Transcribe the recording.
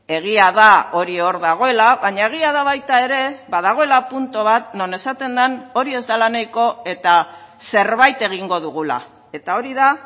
egia da hori hor dagoela baina egia da baita ere badagoela puntu bat non esaten den hori ez dela nahiko eta zerbait egingo dugula eta hori da